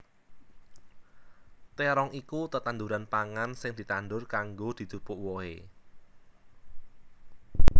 Térong iku tetanduran pangan sing ditandur kanggo dijupuk wohé